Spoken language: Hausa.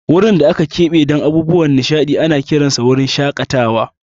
Wurin da aka keɓe don abubuwan nishaɗi ana kiransa wurin shakatawa.